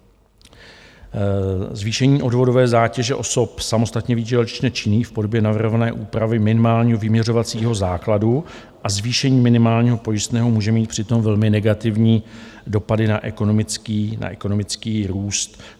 Zvýšení odvodové zátěže osob samostatně výdělečně činných v podobě navrhované úpravy minimálního vyměřovacího základu a zvýšení minimálního pojistného může mít přitom velmi negativní dopady na ekonomický růst.